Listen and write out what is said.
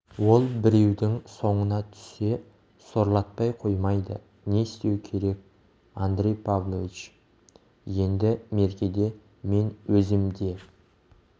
ол біреудің соңына түссе сорлатпай қоймайды не істеу керек андрей павлович енді меркеде мен өзім де